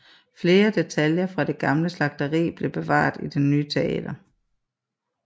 Flere detaljer fra det gamle slagteri bliver bevaret i det nye teater